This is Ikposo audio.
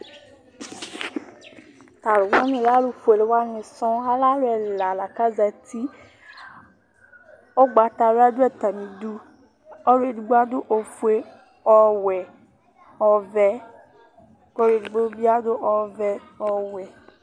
Tu alʋwaŋi alɛ alʋfʋele waŋi sɔ Alɛ alu ɛla la kʋ azɛti Ugbatawla ɖu atamiɖu Ɔluɛɖigbo aɖu ɔƒʋe, ɔwɛ, ɔvɛ kʋ ɔluɛɖigbo bi aɖu ɔwɛ, ɔvɛ